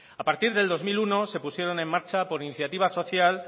a partir del dos mil uno se pusieron en marcha por iniciativa social